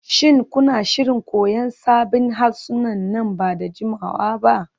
Shin kuna shirin koyan sabbin harsuna nan ba da jimawa ba?